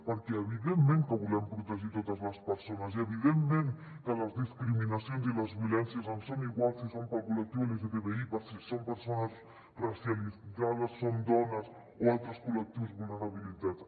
perquè evidentment que volem protegir totes les persones i evidentment que les discriminacions i les violències ens són igual si són per al col·lectiu lgtbi si són persones racialitzades són dones o altres col·lectius vulnerabilitzats